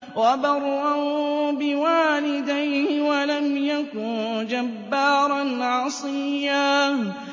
وَبَرًّا بِوَالِدَيْهِ وَلَمْ يَكُن جَبَّارًا عَصِيًّا